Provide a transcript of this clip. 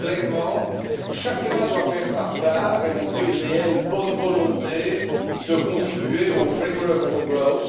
Clairement, chacun doit faire sa part et montrer une réelle bonne volonté de contribuer au framework for growth